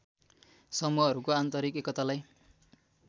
समूहहरूको आन्तरिक एकतालाई